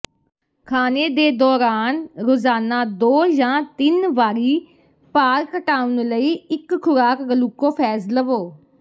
ਖਾਣੇ ਦੇ ਦੌਰਾਨ ਰੋਜ਼ਾਨਾ ਦੋ ਜਾਂ ਤਿੰਨ ਵਾਰੀ ਭਾਰ ਘਟਾਉਣ ਲਈ ਇਹ ਖੁਰਾਕ ਗਲੂਕੋਫੈਜ ਲਵੋ